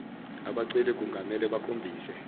abaceli kungamele bakhombise